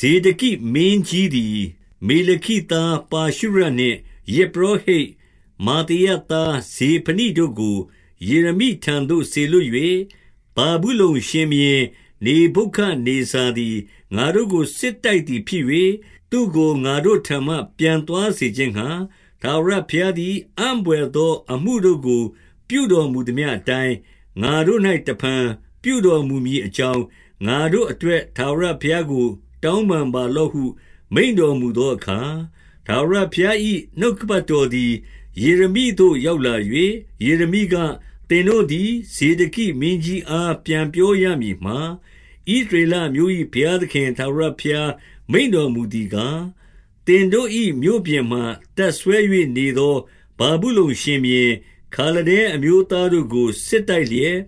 ဇေဒကိမင်းကြီးသည် မေလခိသား ပါရှုရနှင့်၊ ယဇ်ပုရောဟိတ် မာသေယသား ဇေဖနိတို့ကို ယေရမိ ထံသို့စေလွှတ်၍၊ ဗာဗုလုန်ရှင်ဘုရင် နေဗုခဒ်နေဇာသည် ငါတို့ကို စစ်တိုက်သည်ဖြစ်၍၊ သူ့ကို ငါ့တို့ထံမှ ပြန်သွား စေခြင်းငှါ၊ ထာဝရဘုရားသည် အံ့ဘွယ်သောအမှုတို့ကို ပြုတော်မူသမျှအတိုင်း၊ ငါတို့၌ တဖန်ပြုတော်မူမည် အကြောင်း၊ ငါတို့အတွက် ထာဝရဘုရားကို တောင်းပန် ပါလော့ဟု မိန့်တော်မူသောအခါ၊ ထာဝရဘုရား၏ နှုတ်ကပတ်တော်သည် ယေရမိသို့ရောက်လာ၍၊ ယေရမိက၊ သင်တို့သည် ဇေဒကိမင်းကြီးအား ပြန်ပြောရမည်မှာ၊ ဣသရေလအမျိုး၏ဘုရားသခင် ထာဝရဘုရား မိန့်တော်မူသည်ကား၊ သင်တို့၏မြို့ပြင်မှာ တပ်စွဲ၍ နေသော ဗာဗုလုန်ရှင်ဘုရင်၊ ခါလဒဲအမျိုးသားတို့ကို စစ်တိုက်လျက်၊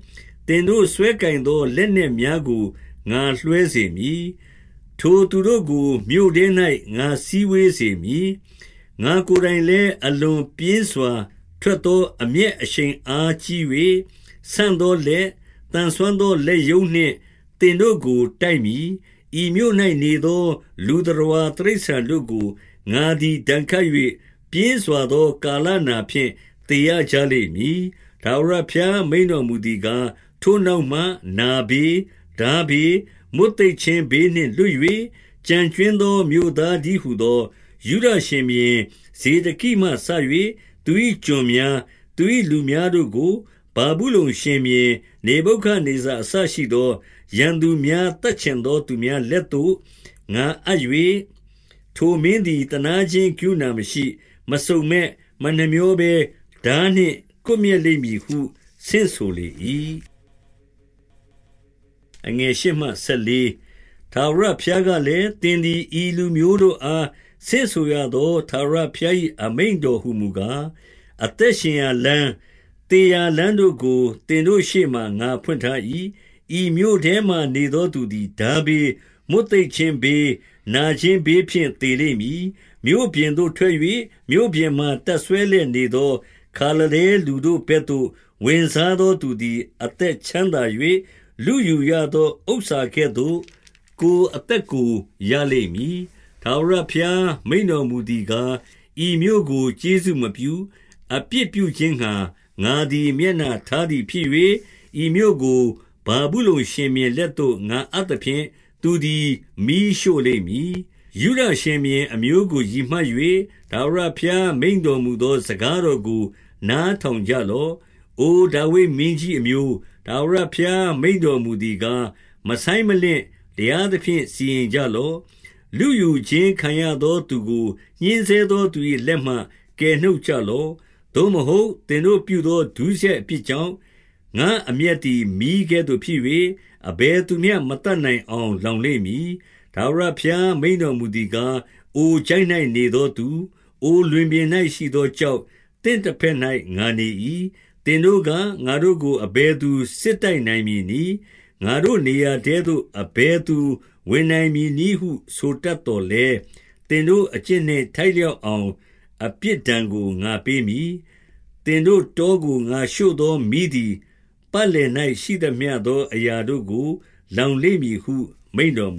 သင်တို့စွဲကိုင်သော လက်နက်များကို ငါလွဲစေမည်။ ထိုသူတို့ကို မြို့ထဲ၌ ငါစည်းဝေးစေမည်။ ငါ့ကိုယ်တိုင်လည်း အလွန်ပြင်းစွာ ထွက်သော အမျက်အရှိန်အားကြီး၍၊ ဆန့်သောလက်၊ သန်စွမ်းသော လက်ရုံးနှင့် သင်တို့ကို တိုက်မည်။ ဤမြို့၌နေသော လူသတ္တဝါတိရစ္ဆာန်တို့ကို ငါသည် ဒဏ်ခတ်၍၊ ပြင်းစွာသောကာလနာဖြင့် သေရ ကြလိမ့်မည်။ ထာဝရဘုရား မိန့်တော်မူသည်ကား၊ ထိုနောက် မှ နာဘေး၊ ထားဘေး၊ မွတ်သိပ်ခြင်းဘေးနှင့် လွတ်၍၊ ကျန်ကြွင်းသော မြို့သားတည်းဟူသော ယုဒရှင်ဘုရင် ဇေဒကိမှစ၍ သူ၏ကျွန်များ၊ သူ၏လူများတို့ကို၊ ဗာဗု လုန်ရှင်ဘုရင် နေဗုခဒ်နေဇာ အစရှိသော ရန်သူများ၊ သတ်ချင်သော သူများလက်သို့ ငါအပ်၍၊ ထိုမင်းသည် သနားခြင်း ကရုဏာမရှိ၊ မစုံမက်၊ မနှမြောဘဲ၊ ထားနှင့် ကွပ်မျက်လိမ့်မည်ဟု ဆင့်ဆိုလေ၏။ ထာဝရဘုရားကလည်း၊ သင်သည် ဤလူမျိုးတို့ အား ဆင့်ဆိုရသော ထာဝရဘုရား၏ အမိန့်တော်ဟူ မူကား၊ အသက်ရှင်ရာလမ်း၊ သေရာလမ်းတို့ကို သင်တို့ ရှေ့မှာ ငါဖွင့်ထား၏။ ဤမြို့ထဲမှာနေသော သူသည် ထားဘေး၊ မွတ်သိပ်ခြင်းဘေး၊ နာခြင်းဘေးဖြင့် သေလိမ့်မည်။ မြို့ပြင်သို့ထွက်၍၊ မြို့ပြင်မှာ တပ်စွဲလျက်နေသော ခါလဒဲလူတို့ဘက်သို့ ဝင်စားသော သူသည် အသက် ချမ်းသာ၍ လုယူရသော ဥစ္စာကဲ့သို့ ကိုယ်အသက်ကို ရလိမ့်မည်။ ထာဝရဘုရား မိန့်တော်မူသည်ကား၊ ဤမြို့ကို ကျေးဇူးပြု၍၊ အပြစ်ပြုခြင်းငှါ ငါသည် မျက်နှာထား သည်ဖြစ်၍၊ ဤမြို့ကို ဗာဗုလုန်ရှင်ဘုရင်လက်သို့ ငါအပ် သဖြင့်၊ သူသည် မီးရှို့လိမ့်မည်။ ယုဒရှင်ဘုရင် အမျိုးကို ရည်မှတ်၍၊ ထာဝရ ဘုရား မိန့်တော်မူသော စကားတော်ကို နားထောင် ကြလော့။ အို ဒါဝိဒ်မင်းကြီးအမျိုး၊ ထာဝရဘုရား မိန့်တော် မူသည်ကား၊ မဆိုင်းမလင့်၊ တရားသဖြင့် စီရင်ကြလော့။ လုယူခြင်းခံရသော သူကို ညှဉ်းဆဲသောသူ၏ လက်မှ ကယ်နှုတ်ကြလော့။ သို့မဟုတ်၊ သင်တို့ပြုသော ဒုစရိုက် အပြစ်ကြောင့်၊ ငါ့အမျက်သည် မီးကဲ့သို့ဖြစ်၍၊ အဘယ်သူ မျှမသတ်နိုင်အောင်လောင်လိမ့်မည်။ ထာဝရဘုရား မိန့်တော်မူသည်ကား၊ အိုချိုင့်၌ နေသောသူ၊ အိုလွင်ပြင်၌ရှိသော ကျောက်၊ သင့်တဘက်၌ ငါနေ၏။ သင်တို့က၊ ငါတို့ကို အဘယ်သူ စစ်တိုက်နိုင်မည် နည်း။ ငါတို့ နေရာထဲသို့ အဘယ်သူ ဝင်နိုင်မည်နည်းဟု ဆိုတတ်သော်လည်း၊ သင်တို့ အကျင့်နှင့် ထိုက်လျောက်အောင် အပြစ် ဒဏ်ကို ငါပေးမည်။ သင်တို့တောကို ငါရှို့သော မီးသည်၊ ပင်လည်၌ရှိသမျှသောအရာတို့ကို လောင်လိမ့်မည်ဟု မိန့်တော်မူ